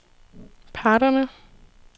parterne